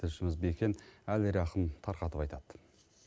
тілшіміз бекен әлирахым тарқатып айтады